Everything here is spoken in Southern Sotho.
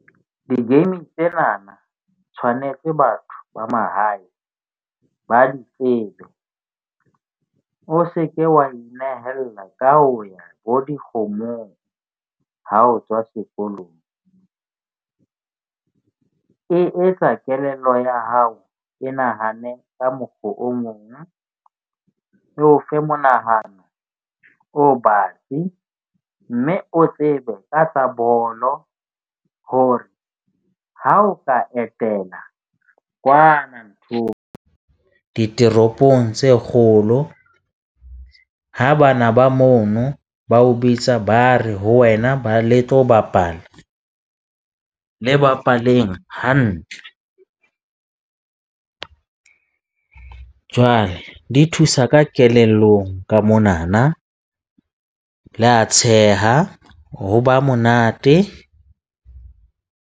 Di-game tsenana tshwanetse batho ba mahae ba di tsebe. O se ke wa inehella ka ho ya bo dikgomong. Ha o tswa sekolong e etsa kelello ya hao e nahane ka mokgo o mong o fe monahano, o batsi. Mme o tsebe ka tsa bolo ho re ha o ka etela kwana nthong diteropong tse kgolo. Ha bana ba mono ba o bitsa, ba re ho wena le tlo bapala le bapaleng hantle. Jwale di thusa ka kelellong ka monana, le a tsheha, ho ba monate.